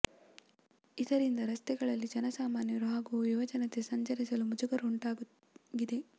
ಇದರಿಂದ ರಸ್ತೆಗಳಲ್ಲಿ ಜನ ಸಾಮಾನ್ಯರು ಹಾಗೂ ಯುವ ಜನತೆ ಸಂಚರಿಸಲು ಮುಂಜುಗರ ಉಂಟಾಗಿದೆ